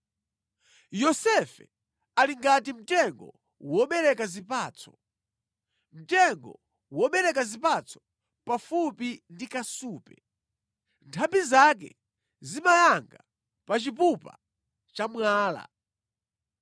“Yosefe ali ngati mtengo wobereka zipatso, mtengo wobereka zipatso pafupi ndi kasupe, nthambi zake zimayanga pa chipupa cha mwala.